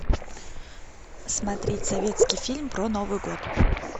смотреть советский фильм про новый год